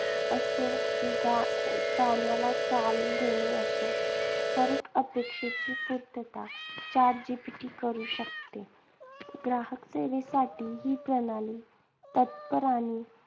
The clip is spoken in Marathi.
असो किंवा अह गाण्याला चाल देणे असो, हरएक अपेक्षेची पूर्तता chat GPT करू शकते. ग्राहकसेवेसाठी ही प्रणाली तत्पर आणि